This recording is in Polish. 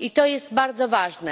i to jest bardzo ważne.